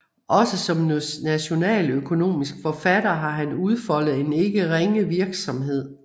Også som nationaløkonomisk forfatter har han udfoldet en ikke ringe virksomhed